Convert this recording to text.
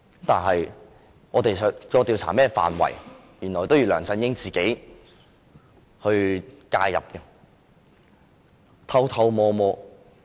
但是，我們調查的範圍，原來梁振英要偷偷摸摸介入。